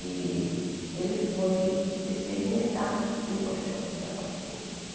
E ele foi experimentar se o colchão pegava fogo.